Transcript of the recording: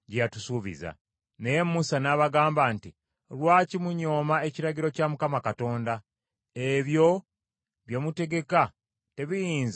Naye Musa n’abagamba nti, “Lwaki munyooma ekiragiro kya Mukama Katonda? Ebyo bye mutegeka tebiyinza kutuukiririra.